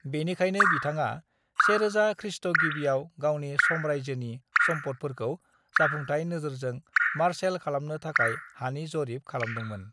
बेनिखायनो बिथाङा 1000 खृ.गिबियाव गावनि साम्रायजोनि सम्फदफोरखौ जाफुंथाय नोजोरजों मार्शेल खालामनो थाखाय हानि जरिप खालामदोंमोन।